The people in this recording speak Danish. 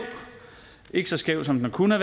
ikke så skæv som den kunne